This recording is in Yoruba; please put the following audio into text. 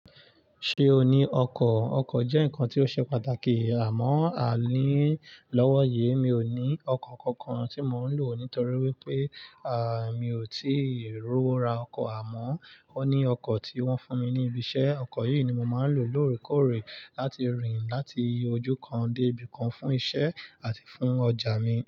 Ṣé o ní ọkọ̀? Ọkọ̀ jẹ́ nǹkan tí ó ṣe pàtàkì àmọ́ àa ní lọ́wọ́ yii, mi ò ní ọkọ̀ kankan tí mò ń lò nítorí wípé, mi ò tí ì rowo ra ọkọ̀ àmọ́ ó ní ọkọ̀ tí wọ́n fún mi ní ibi iṣẹ́, ọkọ̀ yìí ni mo maà ń lò lóòrèkóòrè láti rìn láti ojú kan dé ibì kan fún iṣẹ́ àti fún ọjà mi.